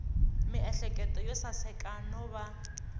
miehleketo yo saseka no va